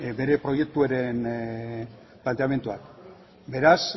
bere proiektuaren planteamendua beraz